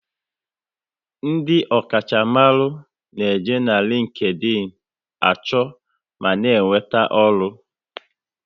Ndị ọkacha mmaru n'eji LinkedIn a chọ ma na enweta ọrụ